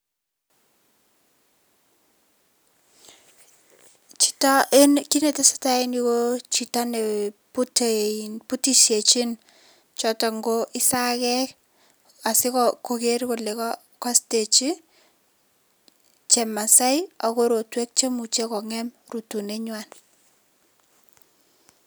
Kiit netesetai eng yu ko chito ne butisienchi chotok ko isakek asikokeer kole kaistechi chemasei ak korotwek cheimuchei kongem rutunet ngwai.